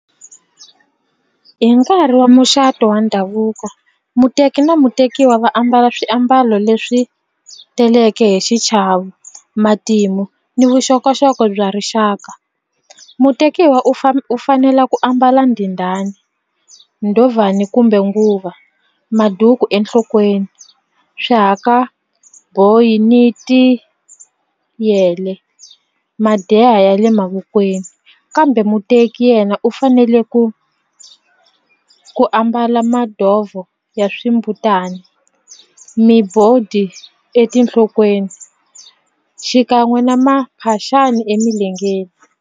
Hi nkarhi wa muxato wa ndhavuko muteki na mutekiwa va ambala swiambalo leswi teleke hi xichavo matimu ni vuxokoxoko bya rixaka mutekiwa u u fanela ku ambala ndhindhani, ndhovhani kumbe nguva maduku enhlokweni, swihakaboyi ni tiyele madeha ya le mavokweni kambe muteki yena u fanele ku ku ambala madovho ya swimbutana etinhlokweni xikan'we na maphaxani emilengeni.